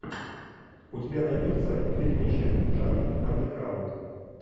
у тебя найдется фильмище жанр андеграунд